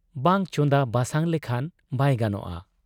ᱵᱟᱝ ᱪᱚᱸᱫᱟ ᱵᱟᱥᱟᱝ ᱞᱮᱠᱷᱟᱱ ᱵᱟᱭ ᱜᱟᱱᱚᱜ ᱟ ᱾